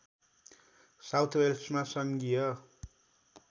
south वेल्समा सङ्घीय